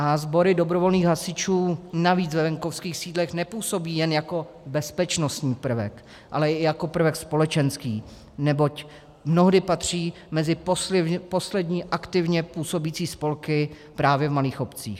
A sbory dobrovolných hasičů navíc ve venkovských sídlech nepůsobí jen jako bezpečnostní prvek, ale i jako prvek společenský, neboť mnohdy patří mezi poslední aktivně působící spolky právě v malých obcích.